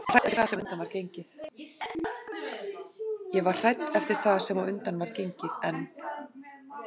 Ég var hrædd eftir það sem á undan var gengið en